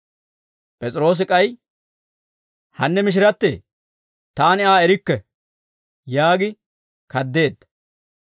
P'es'iroosi k'ay, «Hanne mishirattee, taani Aa erikke» yaagi kaddeedda.